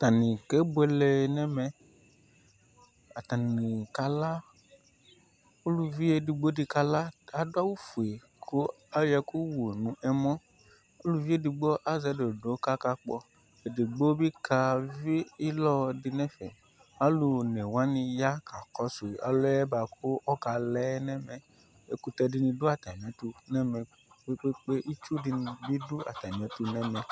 Atani kebuele nɛmɛ Atani kala Uluvi ɛdigbo di kala kʋ adʋ awʋ fue kʋ ayɔ ɛkʋ wu nʋ ɛmɔ Uluvi ɛdigbo azɛ dondo kʋ akakpɔ Ɛdigbo bi kavi ilɔ di nɛfɛ Alʋ one wani ya kakɔsʋ ɔlʋ yɛ boa kʋ ɔkala yɛ nɛmɛ Ɛkʋtɛ di ni dʋ atami ɛtʋ nɛmɛ kpekpekpe Itsu di ni bi dʋ atami ɛtʋ nɛmɛ